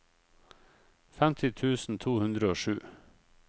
femti tusen to hundre og sju